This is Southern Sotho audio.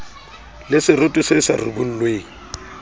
le seroto se sa ribollweng